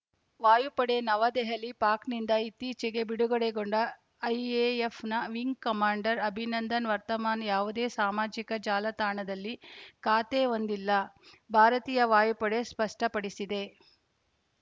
ವಾಯುಪಡೆ ನವದೆಹಲಿ ಪಾಕ್‌ನಿಂದ ಇತ್ತೀಚಿಗೆ ಬಿಡುಗಡೆಗೊಂಡ ಐಎಎಫ್‌ನ wing commander Abhinandan Varthaman ಯಾವುದೇ ಸಾಮಾಜಿಕ ಜಾಲತಾಣದಲ್ಲಿ ಖಾತೆ ಹೊಂದಿಲ್ಲ ಭಾರತೀಯ ವಾಯುಪಡೆ ಸ್ಪಷ್ಟಪಡಿಸಿದೆ